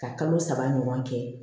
Ka kalo saba ɲɔgɔn kɛ